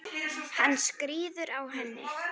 Hann skríður á henni.